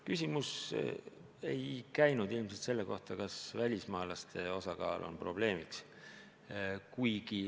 Küsimus ei käinud ilmselt selle kohta, kas välismaalaste osakaal on probleemiks.